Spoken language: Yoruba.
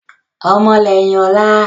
Ọmọ lẹ́yìn ọ̀la